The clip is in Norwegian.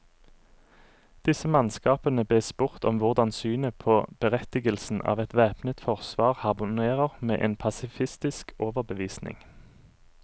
Disse mannskapene bes spurt om hvordan synet på berettigelsen av et væpnet forsvar harmonerer med en pasifistisk overbevisning.